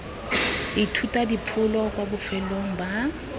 ithuta dipholo kwa bofelong ba